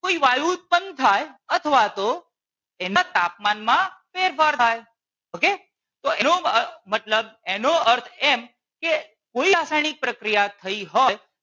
કોઈ વાયુ ઉત્પન્ન થાય અથવા તો એના તાપમાનમાં ફેરફાર થાય okay તો એનો મતલબ એનો અર્થ એમ કે કોઈ રાસાયણિક પ્રક્રિયા થઈ હોય